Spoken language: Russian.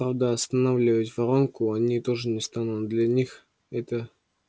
правда останавливать воронку они тоже не станут для них это